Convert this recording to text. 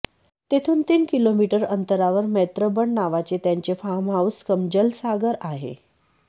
तेथून तीन किलोमीटर अंतरावर मैत्रबन नावाचे त्याचे फार्महाऊस कम जलसाघर आहे